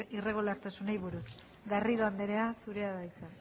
irregulartasunei buruz garrido andrea zurea da hitza